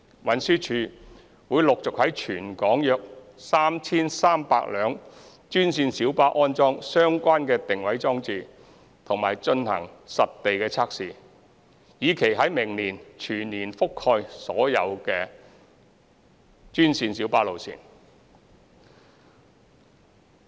運輸署會陸續在全港約 3,300 部專線小巴安裝相關定位裝置及進行實地測試，以期在明年全面覆蓋所有的專線小巴路線。